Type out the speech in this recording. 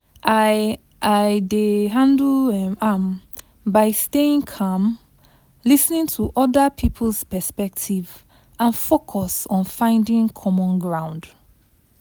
i i dey handle um am by staying calm, lis ten to oda person's perspective, and focus on finding common ground.